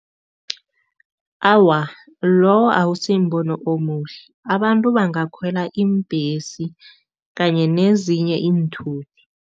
Awa, lowo akusimbono omuhle. Abantu bangakhwela iimbhesi kanye nezinye iinthuthi.